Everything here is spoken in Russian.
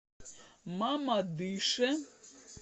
мамадыше